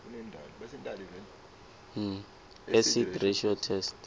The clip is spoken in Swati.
acid ratio test